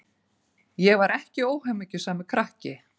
Ég var ekki óhamingjusamur krakki.